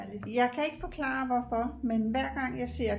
jeg kan ikke forklare hvorfor men hver gang jeg ser